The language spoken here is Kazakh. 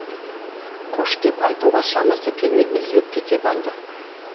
қош деп айтуға шамасы келмей үзіліп кете барды